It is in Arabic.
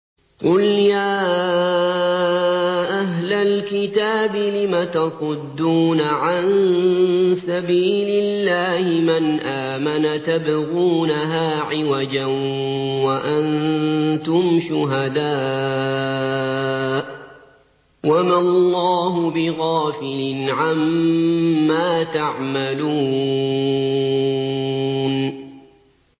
قُلْ يَا أَهْلَ الْكِتَابِ لِمَ تَصُدُّونَ عَن سَبِيلِ اللَّهِ مَنْ آمَنَ تَبْغُونَهَا عِوَجًا وَأَنتُمْ شُهَدَاءُ ۗ وَمَا اللَّهُ بِغَافِلٍ عَمَّا تَعْمَلُونَ